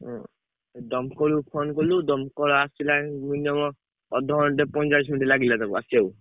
ଉଁ ଦମକଳ କୁ phone କଲୁ ଦମକଳ ଆସିଲା minimum ଅଧଘଣ୍ଟେ ପଇଁଚାଳିଶି minute ଲାଗିଲା ତାକୁ ଆସିଆକୁ।